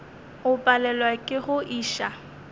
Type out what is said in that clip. o palelwa ke go iša